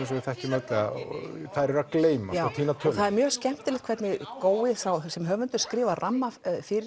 sem við þekkjum öll þær eru að gleymast og týna tölunni það er mjög skemmtilegt hvernig gói sem höfundur skrifar ramma